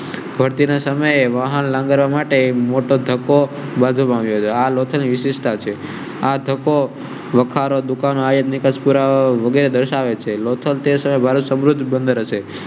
ભરતી સમય એ માટે મોટો ધક્કો. વખારો દુકાનો આયાત નિકાસ પૂર્વગ્રહ દર્શાવે છે. લોથલ તે સમય એ ભારત સમૃદ્ધ બૅંડર હશે